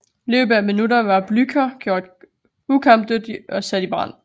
I løbet af minutter var Blücher gjort ukampdygtig og sat i brand